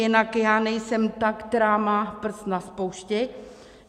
Jinak já nejsem ta, která má prst na spoušti.